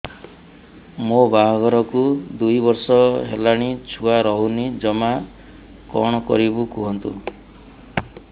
ମୋ ବାହାଘରକୁ ଦୁଇ ବର୍ଷ ହେଲାଣି ଛୁଆ ରହୁନି ଜମା କଣ କରିବୁ କୁହନ୍ତୁ